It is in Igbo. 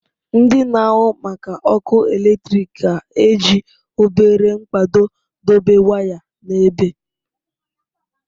Ndị na-ahụ maka ọkụ eletrik ga-eji obere mkpado dobe waya n'ebe.